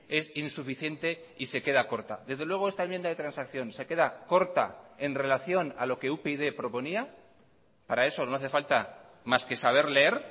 es insuficiente y se queda corta desde luego esta enmienda de transacción se queda corta en relación a lo que upyd proponía para eso no hace falta más que saber leer